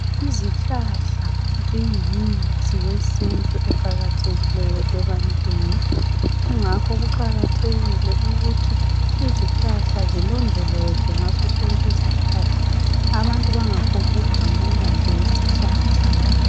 Izihlahla ziyimithi yesintu eqakathekileyo ebantwini, kungakho kuqakathekile ukuthi izihlahla zilondolozwe ngaso sonke isikhathi, abantu bangaphongu gamula isihlahla.